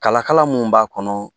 Kala kala mun b'a kɔnɔ